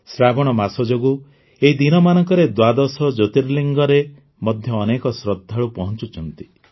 ଶ୍ରାବଣ ମାସ ଯୋଗୁଁ ଏହି ଦିନମାନଙ୍କରେ ଦ୍ୱାଦଶ ଜ୍ୟୋତିର୍ଲିଙ୍ଗରେ ମଧ୍ୟ ଅନେକ ଶ୍ରଦ୍ଧାଳୁ ପହଞ୍ଚୁଛନ୍ତି